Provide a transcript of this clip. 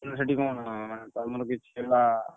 ମାନେ ସେଠି କଣ ମାନେ ତମର କିଛି ହେଲା।